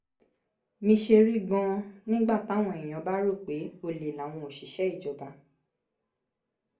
mi ṣe rí gan-an nígbà táwọn èèyàn bá rò pé ọ̀lẹ làwọn òṣìṣẹ́ ìjọba